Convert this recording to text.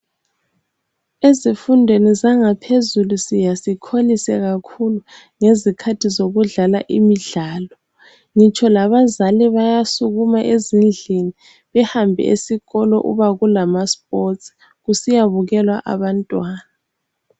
Ezifundweni zangaphezulu siya sikholise kakhulu ngezikhathi zokudlala imidlalo ngitsho labazala bayasukuma ezindlini behambe esikolo uba kulamasports kusiyabukelwa abantwana.